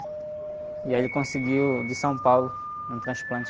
E aí ele conseguiu, de São Paulo, um transplante.